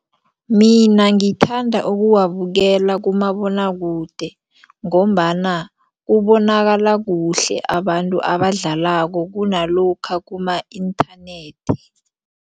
Mina ngithanda ukuwabukela kumabonwakude ngombana kubonakala kuhle abantu abadlalako kunalokha kuma-internet.